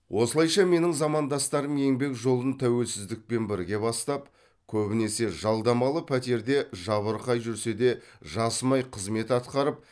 осылайша менің замандастарым еңбек жолын тәуелсіздікпен бірге бастап көбінесе жалдамалы пәтерде жабырқай жүрсе де жасымай қызмет атқарып